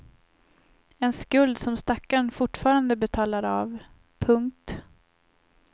En skuld som stackarn fortfarande betalar av. punkt